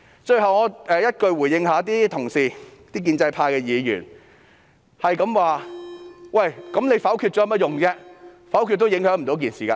最後，我以一句話回應建制派議員，他們不斷質疑否決有何用，否決也不會有任何影響。